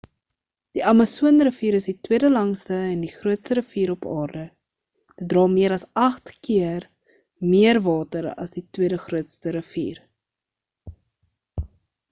die amasoon rivier is die tweede langste en die grootste rivier op aarde dit dra meer as 8 keer meer water as die tweede grootste rivier